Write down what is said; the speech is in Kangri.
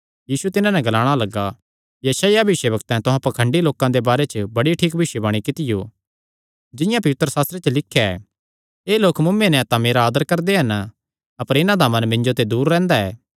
यीशु तिन्हां नैं ग्लाणा लग्गा यशायाह भविष्यवक्तैं तुहां पाखंडियां दे बारे च बड़ी ठीक भविष्यवाणी कित्तियो जिंआं पवित्रशास्त्रे च लिख्या ऐ एह़ लोक मुँऐ नैं तां मेरा आदर करदे हन अपर इन्हां दा मन मिन्जो ते दूर रैंह्दा ऐ